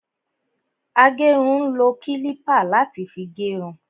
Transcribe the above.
Agérun ń lo kílípà láti fi gé irun